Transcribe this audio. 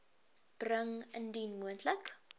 bring indien moontlik